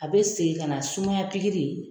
A bɛ segin ka na sumayaya